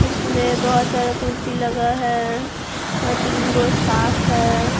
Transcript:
इसमें बहुत सारा कुर्सी लगा है और तीन गो स्टाफ है।